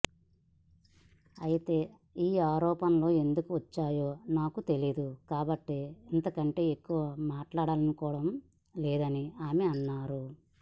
అయితే ఈ ఆరోపణలు ఎందుకు వచ్చాయో నాకు తెలియదు కాబట్టి ఇంతకంటే ఎక్కువ మాట్లాడాలనుకోవడం లేదని ఆమె అన్నారు